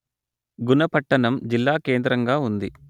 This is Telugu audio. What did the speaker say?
గున పట్టణం జిల్లాకేంద్రంగా ఉంది